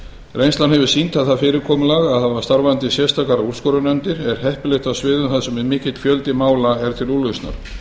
reynslan hefur sýnt að það fyrirkomulag að hafa starfandi sérstakar úrskurðarnefndir er heppilegt á sviðum þar sem mikill fjöldi mála er til úrlausnar